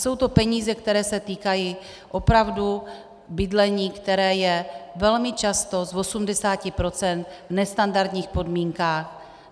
Jsou to peníze, které se týkají opravdu bydlení, které je velmi často z 80 % v nestandardních podmínkách.